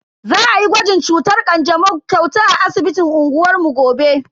Za ayi gwajin cutar kanjamau kyauta a asibitin unguwar mu gobe.